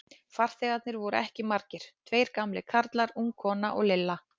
Farþegarnir voru ekki margir, tveir gamlir karlar, ung kona og Lilla.